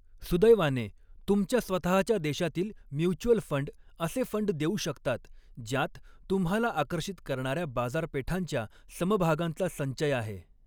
सुदैवाने, तुमच्या स्वतःच्या देशातील म्युच्युअल फंड असे फंड देऊ शकतात ज्यांत तुम्हाला आकर्षित करणाऱ्या बाजारपेठांच्या समभागांचा संचय आहे.